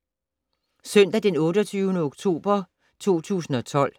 Søndag d. 28. oktober 2012